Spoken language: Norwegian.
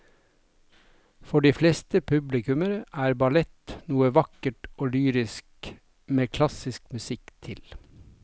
For de fleste publikummere er ballett noe vakkert og lyrisk med klassisk musikk til.